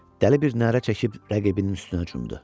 Dəli bir nərə çəkib rəqibinin üstünə cumdu.